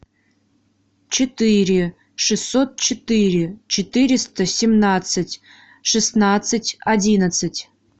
четыре шестьсот четыре четыреста семнадцать шестнадцать одиннадцать